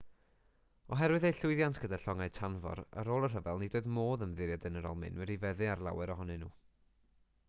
oherwydd eu llwyddiant gyda llongau tanfor ar ôl y rhyfel nid oedd modd ymddiried yn yr almaenwyr i feddu ar lawer ohonyn nhw